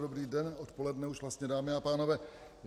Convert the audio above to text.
Dobrý den - odpoledne už vlastně, dámy a pánové.